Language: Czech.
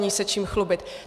Není se čím chlubit.